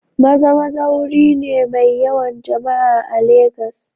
Maza-Maza wuri ne mai yawan jama'a a Legas.